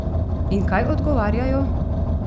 In kaj odgovarjajo?